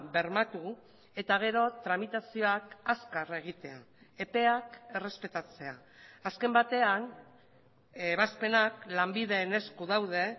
bermatu eta gero tramitazioak azkar egitea epeak errespetatzea azken batean ebazpenak lanbiden esku daude